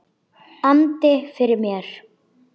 andi yfir mér.